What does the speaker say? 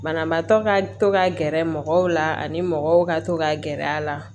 Banabaatɔ ka to ka gɛrɛ mɔgɔw la ani mɔgɔw ka to ka gɛrɛ a la